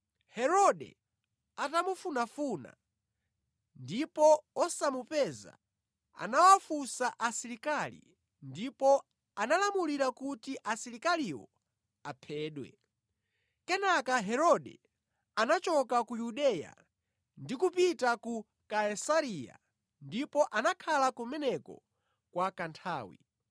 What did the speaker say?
Herode atamufunafuna ndipo wosamupeza, anawafunsa asilikali ndipo analamulira kuti asilikaliwo aphedwe. Imfa ya Herode Kenaka Herode anachoka ku Yudeya ndi kupita ku Kaisareya ndipo anakhala kumeneko kwa kanthawi